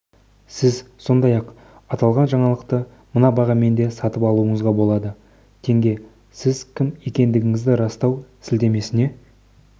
сіз сондай-ақ аталған жаңалықты мына бағамен де сатып алуыңызға болады тенге сіз кім екендігіңізді растау сілтемесіне